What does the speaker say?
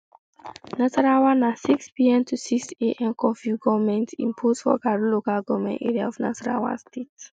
nasarawa na sixpm to sixam um curfew goment impose for karu local goment area of nasarawa state